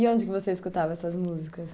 E onde que você escutava essas músicas?